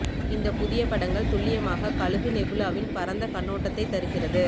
இந்த புதிய படங்கள் துல்லியமாக கழுகு நெபுலாவின் பரந்த கண்ணோட்டத்தை தருகிறது